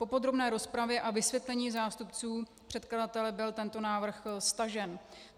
Po podrobné rozpravě a vysvětlení zástupců předkladatele byl tento návrh stažen.